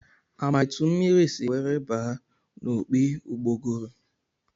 A ma etu mmiri si were baa n'opi ụgbọgụrụ?